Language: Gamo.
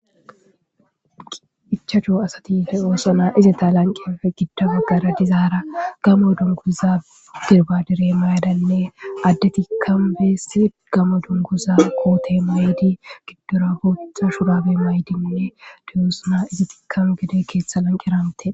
ichacho asatife oosona izita lanqenfe gidda baggara dizaara gamo dunguza dirbadire mayadalle adde tikam bees gamo dunguza koote mayydi giddora booththa shurabe maydinne diyosuna izitikam gede keettha lanqeramte